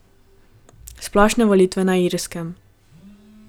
Splošne volitve na Irskem.